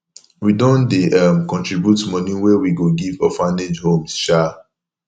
we don dey um contribute moni wey we go give orphanage homes um